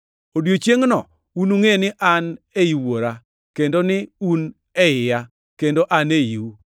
Odiechiengʼno unungʼe ni an ei Wuora; kendo ni un e iya, kendo an eiu.